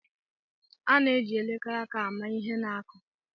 A na-eji elekere aka ama ihe na-akụ.